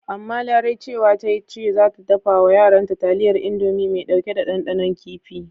Amma Larai cewa ta yi ce za ta dafa wa yaranta taliyar Indomi mai ɗauke da ɗanɗanon kifi.